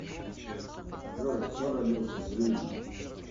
джой кто родился в ривне